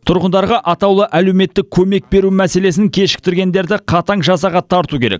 тұрғындарға атаулы әлеуметтік көмек беру мәселесін кешіктіргендерді қатаң жазаға тарту керек